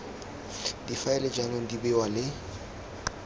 difaele jaanong di bewa le